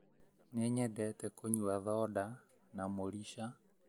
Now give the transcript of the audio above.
Nĩnyendete kũnyua thonda na mũrica